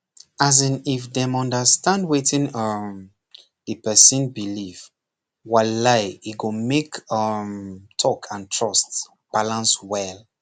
as in if dem understand wetin um the person believe walai e go make um talk and trust balance well